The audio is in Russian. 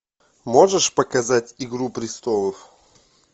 можешь показать игру престолов